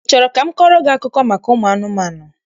I chọrọ ka m kọọrọ gị akụkọ maka ụmụ anụmanụ?